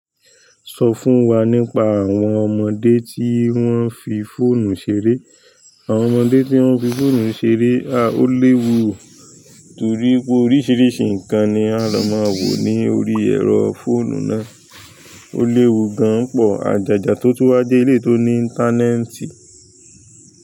Sọ fún wa nípa àwọn ọmọdé tí wọ́n fi fóònù ṣeré. Àwọn ọmọdé tí wọ́n fi fóònù ṣeré, a ó léwu oò, torí pé oríṣiríṣi nǹkan ni a lọ máa wò ní orí ẹ̀rọ fóònù náà. Ó léwu gan-an pọ̀ àjàjà tó túwá je eleyi tó ní íńtánẹ́ẹ̀tì.